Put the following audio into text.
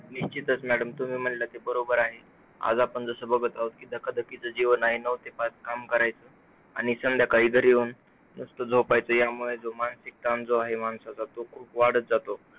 निश्चितच madam! तुम्ही म्हणालात ते बरोबर आहे. आज आपण जसं बघत आहोत जसं धकधकीचं जीवन आहे. नऊ ते पाच काम करायचं, आणि संध्याकाळी घरी येऊन नुसतं झोपायचं. यामुळे मानसिक ताण जो आहे माणसाचा, तो वाढत आहे.